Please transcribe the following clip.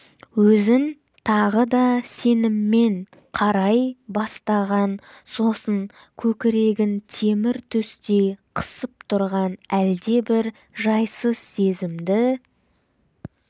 өзін тағы да сеніммен қарай бастаған сосын көкірегін темір төстей қысып тұрған әлдебір жайсыз сезімді